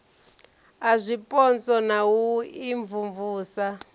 a zwipotso na u imvumvusa